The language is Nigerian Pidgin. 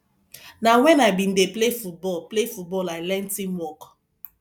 na wen i bin dey play football play football i learn teamwork